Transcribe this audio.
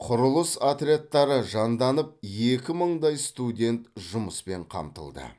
құрылыс отрядтары жанданып екі мыңдай студент жұмыспен қамтылды